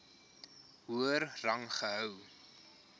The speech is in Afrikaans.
hoër rang gehou